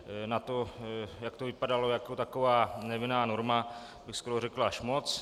Na to, jak to vypadalo jako taková nevinná norma, bych skoro řekl až moc.